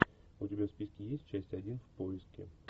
у тебя в списке есть часть один в поиске